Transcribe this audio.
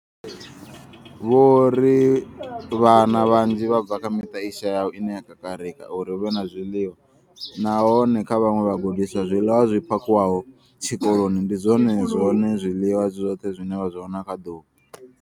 Vho ri vhana vhanzhi vha bva kha miṱa i shayaho ine ya kakarika uri hu vhe na zwiḽiwa, nahone kha vhaṅwe vhagudiswa, zwiḽiwa zwi phakhiwaho tshikoloni ndi zwone zwiḽiwa zwi zwoṱhe zwine vha zwi wana kha ḓuvha.